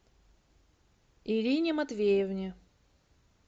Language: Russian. ирине матвеевне